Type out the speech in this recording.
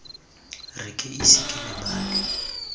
re ke ise ke lebale